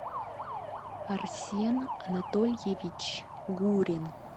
арсен анатольевич гурин